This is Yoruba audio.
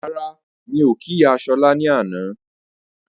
Rárá, mí ò kí ìyá Ṣọla ní àná